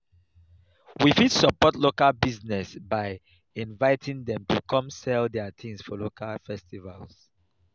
we fit support local business by inviting dem to come sell their things for local festivals